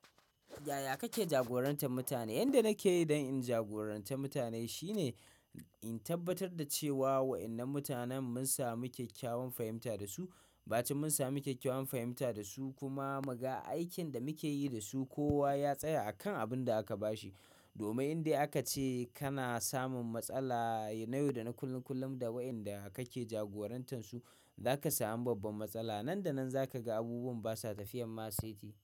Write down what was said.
Yaya kake jagorantar mutane? Inda nake yi don in jagorantar mutane shine in tabbatar da cewa waɗannan mutanen mun samu kyakkyawan fahimta da su. Baci mun samu kyakkyawan fahimta da su kuma mu ga aikin da muke yi da su. Kowa ya tsaya akan abin da aka bashi. Domin in dai aka ce kana samun matsala na yau da na kullum da waɗanda kake jagorantar su, za ka sami babban matsala. Nan da nan za ka ga abubuwan basa tafiyan ma saiti.